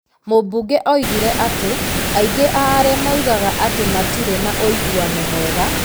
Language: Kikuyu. Mũmbunge oigire atĩ, aingĩ a arĩa moigaga atĩ matirĩ na ũiguano mwega,